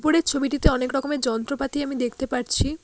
উপরের ছবিটিতে অনেকরকমের যন্ত্রপাতি আমি দেখতে পারছি।